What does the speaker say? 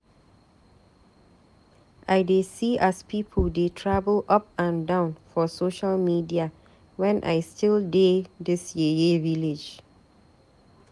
I dey see as pipu dey travel up and down for social media wen I still dey dis yeye village.